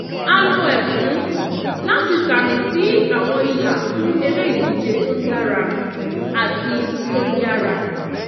a lo ẹfun láti ṣàmì sí àwọn ìlà fún eré ìdíje tó dára àti tó yára